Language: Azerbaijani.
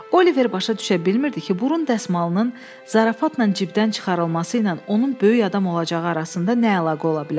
Oliver başa düşə bilmirdi ki, burun dəsmalının zarafatla cibdən çıxarılması ilə onun böyük adam olacağı arasında nə əlaqə ola bilər.